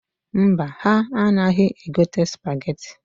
Mba, ha anaghị egote sụpageti.